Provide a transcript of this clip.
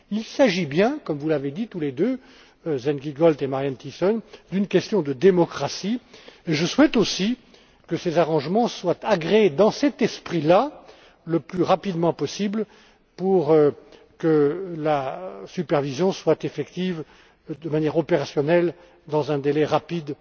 Il s'agit bien, comme vous l'avez dit tous les deux, Sven Giegold et Marianne Thyssen, d'une question de démocratie et je souhaite, aussi, que ces arrangements soient agréés dans cet esprit là, le plus rapidement possible, pour que la supervision soit effective, de manière opérationnelle, dans un délai rapide,